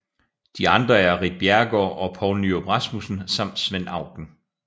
De andre er Ritt Bjerregaard og Poul Nyrup Rasmussen samt Svend Auken